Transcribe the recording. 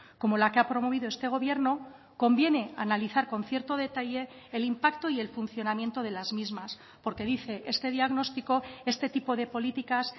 como la que ha promovido este gobierno conviene analizar con cierto detalle el impacto y el funcionamiento de las mismas porque dice este diagnóstico este tipo de políticas